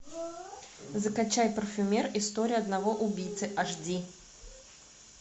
закачай парфюмер история одного убийцы аш ди